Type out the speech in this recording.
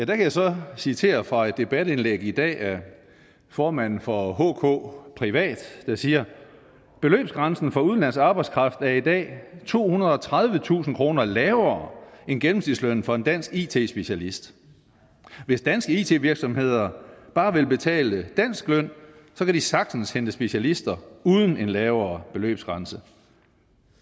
kan jeg så citere fra et debatindlæg i dag af formanden for hk privat der siger beløbsgrænsen for udenlandsk arbejdskraft er i dag tohundrede og tredivetusind kroner lavere end gennemsnitslønnen for en dansk it specialist hvis danske it virksomheder bare ville betale dansk løn kan de sagtens hente specialister uden en lavere beløbsgrænse